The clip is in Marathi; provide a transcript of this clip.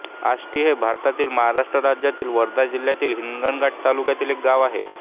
आष्टी हे भारतातील महाराष्ट्र राज्यातील वर्धा जिल्ह्यातील हिंगणघाट तालुक्यातील एक गाव आहे